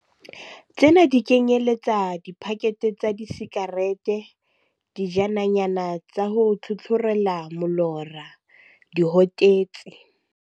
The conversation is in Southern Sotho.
Tsena di kenyeletsa dipakethe tsa disikarete, dijananyana tsa ho tlhotlhorela molora, dihotetsi.